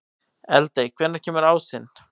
Eldey, hvenær kemur ásinn?